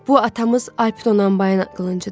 Bu atamız Alp Donanbayın qılıncıdır.